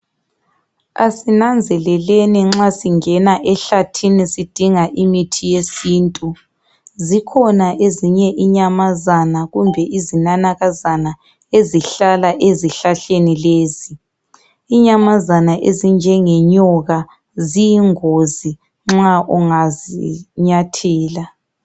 Asinanzeleleni nxa singena ehlathini sidinga imithi yesintu. Zikhona ezinye inyamazana kumbe izinanakazana ezihlala ezihlahleni lezi. Inyamazana ezinjengenyoka ziyingozi nxa ungazinyathela.